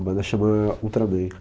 A banda chama Ultraman.